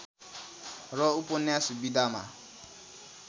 र उपन्यास विधामा